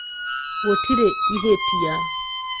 Gũtirĩ ihĩtia